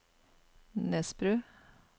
Nesbru